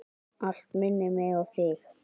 Allt minnir mig á þig.